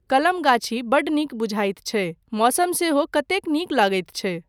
कलम गाछी बड्ड नीक बुझाइत छै, मौसम सेहो कतेक नीक लगैत छै।